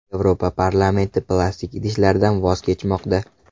Yevropa parlamenti plastik idishlardan voz kechmoqda.